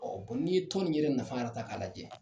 n'i ye tɔn in yɛrɛ nafa yɛrɛ ta k'a lajɛ jɛ.